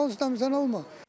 Sizə nə olsun, bizə nə olmasın?